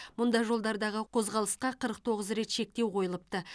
мұнда жолдардағы қозғалысқа қырық тоғыз рет шектеу қойылыпты